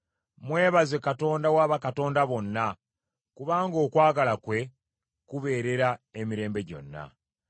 Mwebaze Katonda wa bakatonda bonna, kubanga okwagala kwe kubeerera emirembe gyonna.